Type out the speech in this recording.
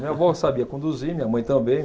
Minha vó sabia conduzir, minha mãe também.